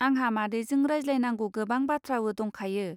आंहा मादैजों रायज्लायनांगौ गोबां बाथ्रावो दंखायो.